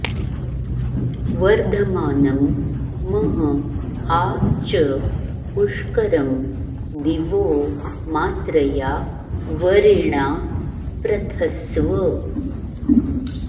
वर्ध॑मानं म॒ह आ च॒ पुष्क॑रं दि॒वो मात्र॑या वरि॒णा प्र॑थस्व